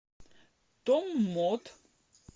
томмот